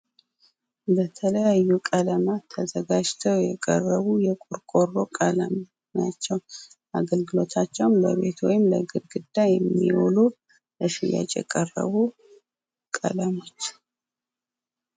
በተለያዩ ቀለማት ተዘጋጅተው የቀረቡ የቆርቆሮ ቀለም ናቸው ። አገልግሎታቸውም ለቤት ወይም ለግድግዳ የሚሆኑ ለሽያጭ የቀረቡ ቀለሞች